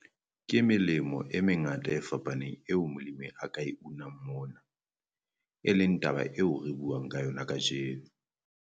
Ke melemo e mengata e fapaneng eo molemi a ka e unang mona, e leng taba eo re buang ka yona kajeno.